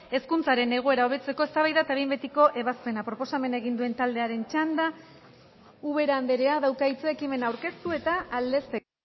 hezkuntzaren egoera hobetzeko eztabaida eta behin betiko ebazpena proposamena egin duen taldearen txanda ubera andrea dauka hitza ekimena aurkeztu eta aldezteko